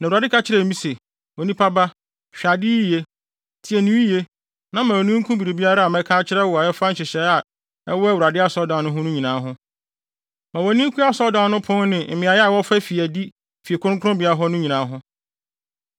Na Awurade ka kyerɛɛ me se, “Onipa ba, hwɛ ade yiye, tie no yiye, na ma wʼani nku biribiara a mɛka akyerɛ wo a ɛfa nhyehyɛe a ɛwɔ Awurade asɔredan no ho nyinaa ho. Ma wʼani nku asɔredan no pon ne mmeae a wɔfa fi adi fi kronkronbea hɔ no nyinaa ho.